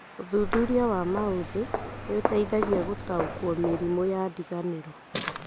ũthuthuria wa maũthĩ nĩũteithagia gũtaũkwo mĩrimũ ya ndiganĩro